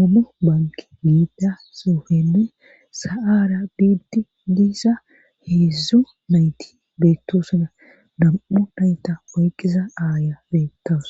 omo banki giida sofene sa7aara biidi diisa heedzdzo nayti beettosona dam7u nayta oyqqiza aaya beetawus